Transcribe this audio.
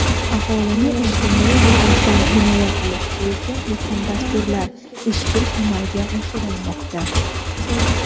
Aholini ijtimoiy jihatdan himoya qilish bo‘yicha muhim dasturlar izchil amalga oshirilmoqda.